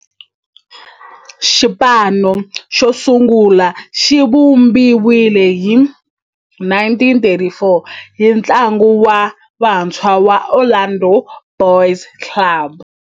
Xipano xosungula xivumbiwile hi 1934 hi ntlawa wa vantshwa va Orlando Boys Club.